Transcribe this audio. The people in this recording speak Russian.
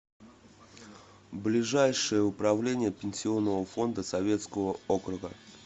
ближайший управление пенсионного фонда советского округа